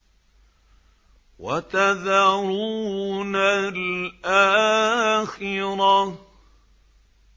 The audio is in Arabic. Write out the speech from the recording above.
وَتَذَرُونَ الْآخِرَةَ